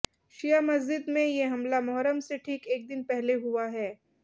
शिया मस्जिद में ये हमला मोहर्रम से ठीक एक दिन पहले हुआ है